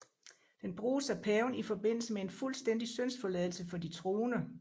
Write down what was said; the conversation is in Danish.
Den bruges af paven i forbindelse med en fuldstændig syndsforladelse for de troende